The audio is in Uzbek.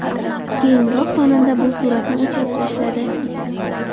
Keyinroq xonanda bu suratni o‘chirib tashladi.